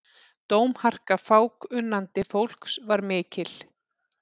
Dómharka fákunnandi fólks var mikil.